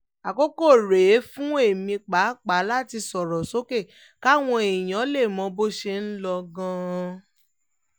àkókò rèé fún èmi pàápàá láti sọ̀rọ̀ sókè káwọn èèyàn lè mọ bó ṣe ń lọ gan-an